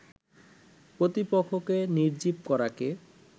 প্রতিপক্ষকে নির্জীব করাকে